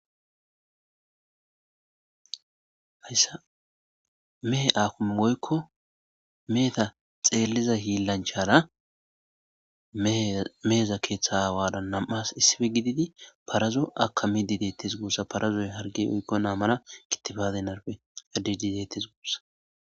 hayssa mehe akime woykko meheta xeelliza hiillanchara meheza keeththa aawara nam''as issippe gididi parazo akamidi deettes guussa. parazoy harge oykko mala kitifate narppe cadidi detees gussakko .